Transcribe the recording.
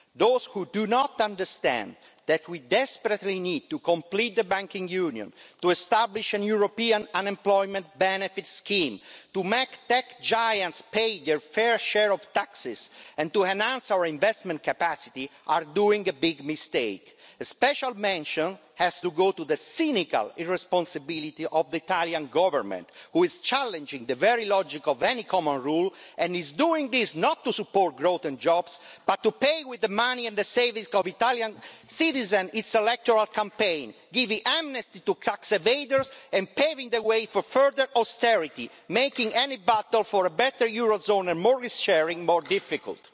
Those who do not understand that we desperately need to complete the banking union, to establish a European unemployment benefits scheme, to make tech giants pay their fair share of taxes and to enhance our investment capacity are making a big mistake. A special mention has to go to the cynical irresponsibility of the Italian Government, which is challenging the very logic of any common rule and is doing this not to support growth and jobs but to pay with the money and the savings of Italian citizens for its electoral campaign, giving amnesty to tax evaders and paving the way for further austerity, making any battle for a better eurozone and more risk sharing more difficult.